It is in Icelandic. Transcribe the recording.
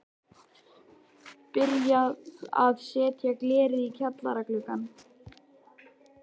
Byrjað að setja glerið í kjallara gluggana.